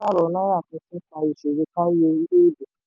òfin pàsípààrọ̀ naira tuntun fa ìṣòro kárí orílẹ̀-èdè.